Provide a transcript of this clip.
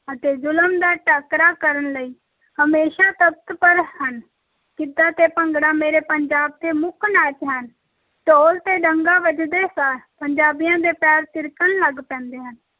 ਅਤੇ ਜ਼ੁਲਮ ਦਾ ਟਾਕਰਾ ਕਰਨ ਲਈ ਹਮੇਸ਼ਾ ਤੱਤਪਰ ਹਨ, ਗਿੱਧਾ ਤੇ ਭੰਗੜਾ ਮੇਰੇ ਪੰਜਾਬ ਦੇ ਮੁੱਖ ਨਾਚ ਹਨ, ਢੋਲ ‘ਤੇ ਡੱਗਾ ਵੱਜਦੇ ਸਾਰ ਪੰਜਾਬੀਆਂ ਦੇ ਪੈਰ ਥਿਰਕਣ ਲੱਗ ਪੈਂਦੇ ਹਨ।